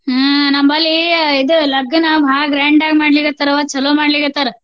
ಹಾ ನಮ್ಮಲ್ಲಿ ಇದ್ ಲಘ್ನ ಭಾಳ grand ಆಗಿ ಮಾಡ್ಲಿಕತ್ತಾರ್ವ್ವ ಚಲೋ ಮಾಡ್ಲಿಕತ್ತಾರ.